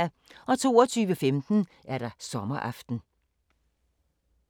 22:15: Sommeraften